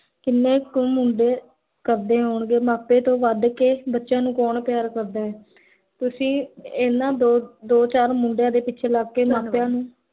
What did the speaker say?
ਕਿੰਨੇ ਕੁ ਮੁੰਡੇ ਕਰਦੇ ਹੋਣਗੇ ਮਾਪੇ ਤੋਂ ਵਦ ਕੇ ਬਚਿਆਂ ਨੂੰ ਕੋੰ ਪਿਆਰ ਕਰਦਾ ਹੈ l ਤੁਸੀਂ ਇੰਨਾ ਦੋ ਚਾਰ ਮੁੰਡਿਆਂ ਦੇ ਪਿਛੇ ਲਗ ਕੇ ਮਾਪਿਆਂ ਨੂੰ